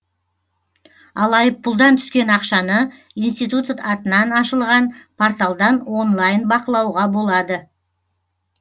ал айыппұлдан түскен ақшаны институт атынан ашылған порталдан онлайн бақылауға болады